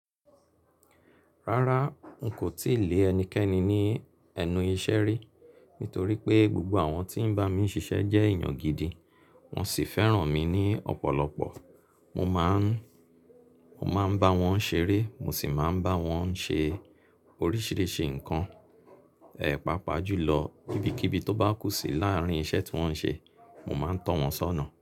Rárá n kò tíì lé ẹnikẹ́ni ní ẹnu iṣẹ́ rí, nítorí pé gbogbo àwọn tí ń bá mi ṣiṣẹ́ jẹ́ èèyàn gidi, wọ́n sì fẹ́ràn mi ní ọ̀pọ̀lọpọ̀. Mo má ń, mo má ń bá wọn ṣeré, mo sì máa ń bá wọn ṣe oríṣìíríṣìí nǹkan, ẹpa pajú lọ, ibikíbi tó bá kú sí láàárín iṣẹ́ tí wọ́n ń ṣe, mo má ń tọ̀ wọ́n sọ́nà.